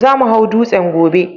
Za mu hau dutsen gobe